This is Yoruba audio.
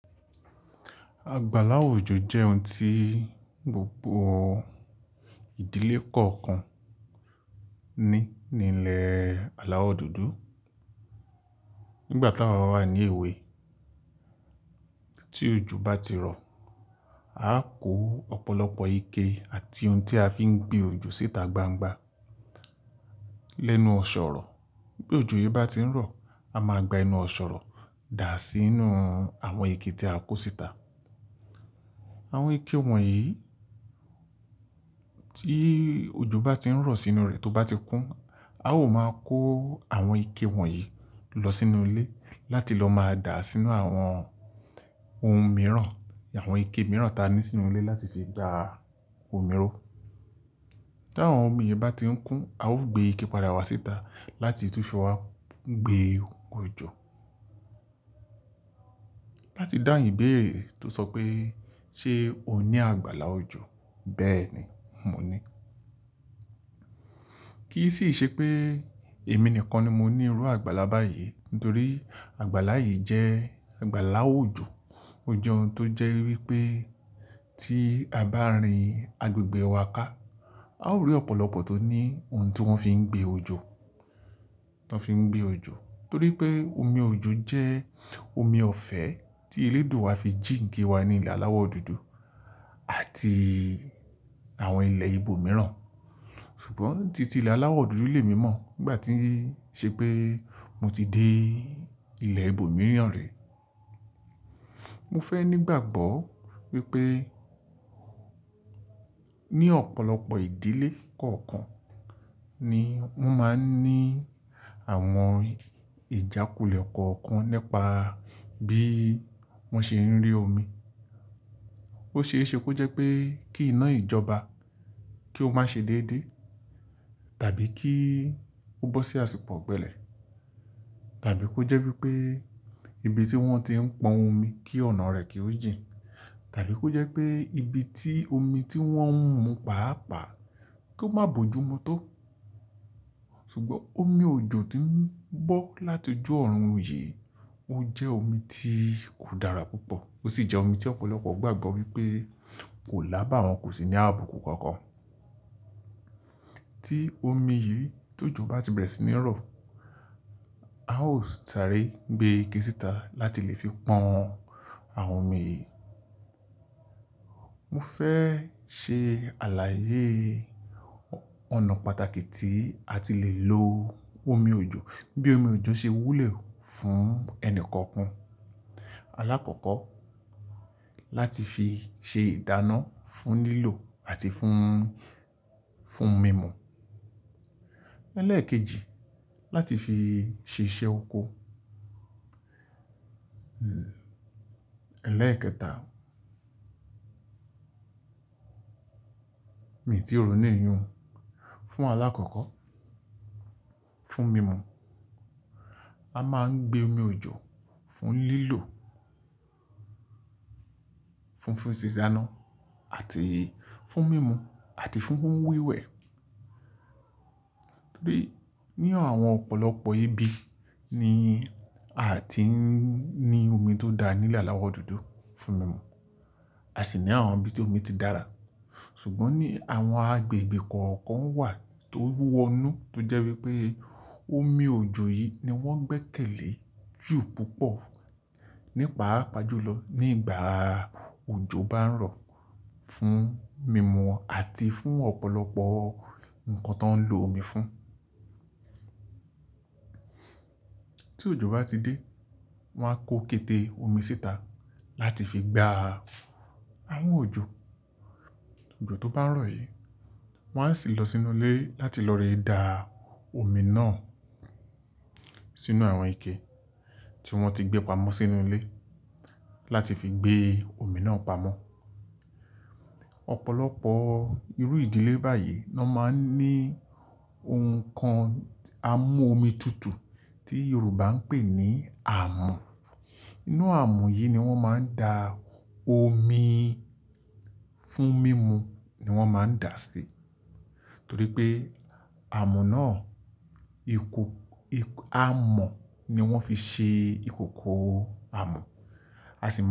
Àgbàlá òjò jẹ́ ohun tí gbogbo ìdílé kọ̀ọ̀kan ní ní ilẹ̀ aláwọ̀ dúdú. Nígbà tí awa wà ní èwe, tí òjò bá ti rọ̀, a ó kó ọ̀pọ̀lọpọ̀ ike àti ohun tí a fi ń gbé òjò síta gbangba lẹ́nu ọ̀sọ̀rọ̀. Bí òjò yìí bá ti ń rọ̀, a máa gba enu ọ̀sọ̀rọ̀ dà sínú àwọn ike tí a kó síta. Àwọn ike wọ̀nyí tí òjò bá ti ń rọ̀ sínú rẹ̀ tó bá ti kún, a ó máa kó àwọn ike wọ̀nyí lọ sínú ilé láti lọ máa dà á sínú àwọn ohun mìíràn àwọn ike mìíràn tí a ní sínú ilé láti fi gba omi ró. Tí àwọn omi yìí bá ti ń kún, a ó gbé ike padà wá síta láti tún fi wá gbé òjò. Láti dáhun ìbéèrè tó sọ pé, "ṣé o ní àgbàlá òjò?" Bẹ́ẹ̀ni, mo ní. Kì í sì ṣe pé èmi nìkan ni mo ní irú àgbàlá báyìí nítorí àgbàlá yìí jẹ́ àgbàlá òjò. Ó jẹ́ ohun tó jẹ́ wípé tí a bá rin agbègbè wa ká, a ó rí ọ̀pọ̀lọpọ̀ tó ní ohun tí wọ́n fi ń gbé òjò, tó fi ń gbé òjò. Torí pé omi òjò jẹ́ omi ọ̀fẹ́ tí Eledua fi jíǹki wa ní ilẹ̀ aláwọ̀ dúdú àti àwọn ilẹ̀ ìbò mìíràn. Ṣùgbọ́n títí ilẹ̀ aláwọ̀ dúdú le mi mọ́ nígbà tí ṣe pé mo ti dé ilẹ̀ ìbò mìíràn rẹ. Mo fẹ́ nígbàgbọ́ wípé ní ọ̀pọ̀lọpọ̀ ìdílé kọ̀ọ̀kan ni wón máa ń ní àwọn ìjákulẹ̀ kọ̀ọ̀kan nípa bí wọ́n ṣe ń rí omi. Ó ṣe é ṣe kó jẹ́ pé kí iná ìjọba kí ó má ṣe déédé, tàbí kí ó bọ́ sí àsìkò ọ̀gbẹlẹ̀, tàbí kó jẹ́ wípé ibi tí wọ́n ti ń pọn omi kí ọ̀nà rẹ̀ kí ó jìn, tàbí kó jẹ́ pé ibi tí omi tí wọ́n ń mu pàápàá kó má bo jùmu tó. Ṣùgbọ́n omi òjò tí ń bọ́ láti ojú ọ̀run yìí, ó jẹ́ omi tí o dára púpọ̀. Ó sì jẹ́ omi tí ọ̀pọ̀lọpọ̀ gbàgbọ́ wípé kò lábà wọn, kò sì ní abukun kankan. Tí omi yìí tó jọ bá ti bẹ̀rẹ̀ sí ní rọ̀, a ó sáré gbé ike síta láti lè fi pọn àwọn omi yìí. Mo fẹ́ ṣe àlàyé ọ̀nà pàtàkì tí a ti lè lo omi òjò. Bí omi òjò ṣe wúlò fún ẹni kọ̀ọ̀kan. Alákọ̀ọ́kọ́, láti fi ṣe ìdáná fún lílò àti fún, fún mímu. Ẹlẹ́ẹ̀kejì, láti fi ṣe iṣẹ́ oko. Ẹlẹ́ẹ̀kẹta, mi ò tíì rò ó ní ìyún. Fún alákọ̀ọ́kọ́, fún mímu. A máa ń gbé omi òjò fún lílò, fún dìdáná àti fún mímu àti fún wíwẹ̀. Ní àwọn ọ̀pọ̀lọpọ̀ ibi ni a ti ń ní omi tó dá nílé aláwọ̀ dúdú fún mímu. A sì ní àwọn ibi tí omi ti dára. Ṣùgbọ́n ní àwọn agbègbè kọ̀ọ̀kan wà tó wọnu, tó jẹ́ wípé omi òjò yìí ni wọ́n gbẹ́kẹ̀lé jù púpọ̀ nípaápàá jùlọ nígbà òjò bá ń rọ̀ fún mímu àti fún ọ̀pọ̀lọpọ̀ nǹkan tó ń lo omi fún. Tí òjò bá ti dé, wọ́n á kó kete omi síta láti fi gba àwọn òjò. Òjò tó bá ń rọ̀ yìí, wọ́n á sì lọ sínú ilé láti lọ re dá omi náà sínú àwọn ike tí wọ́n ti gbé pamọ́ sínú ilé láti fi gbé omi náà pamọ́. Ọ̀pọ̀lọpọ̀ irú ìdílé báyìí ló máa ń ní ohun kan amú omi tutù tí Yorùbá ń pè ní àmù. Inú àmù yìí ni wọ́n máa ń da omi fún mímu ni wọ́n máa ń dà á sí. Torí pé àmù náà, àmọ̀ ni wọ́n fi ṣe ìkòkò àmù. A sì máa ń.